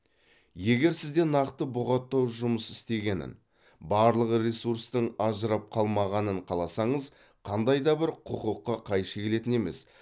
егер сізде нақты бұғаттау жұмыс істегенін барлық ресурстың ажырап қалмағанын қаласаңыз қандай да бір құқыққа қайшы келетін емес